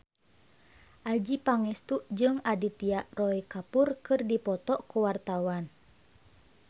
Adjie Pangestu jeung Aditya Roy Kapoor keur dipoto ku wartawan